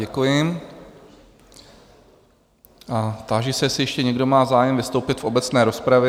Děkuji a táži se, jestli ještě někdo má zájem vystoupit v obecné rozpravě?